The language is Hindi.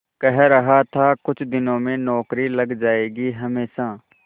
कह रहा था कुछ दिनों में नौकरी लग जाएगी हमेशा